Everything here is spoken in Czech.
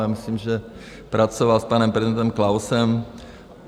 Já myslím, že pracoval s panem prezidentem Klausem.